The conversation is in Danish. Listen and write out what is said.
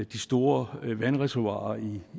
de store vandreservoirer